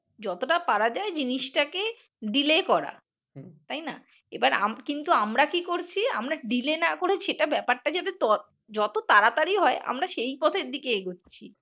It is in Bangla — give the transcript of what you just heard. যতটা পারা যায় জিনিসটা কে delay করা তাই না, এবার কিন্তু আমরা কি করছি আমরা delay না করে সেটা ব্যাপার টা যাতে যত তাড়াতাড়ি হয় আমরা সে পথের দিকে এগুচ্ছি